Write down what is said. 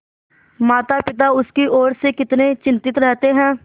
मातापिता उसकी ओर से कितने चिंतित रहते हैं